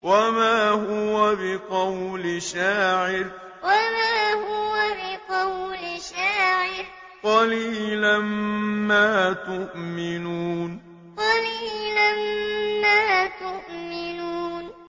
وَمَا هُوَ بِقَوْلِ شَاعِرٍ ۚ قَلِيلًا مَّا تُؤْمِنُونَ وَمَا هُوَ بِقَوْلِ شَاعِرٍ ۚ قَلِيلًا مَّا تُؤْمِنُونَ